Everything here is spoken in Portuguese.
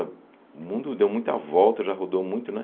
O mundo deu muita volta, já rodou muito, né?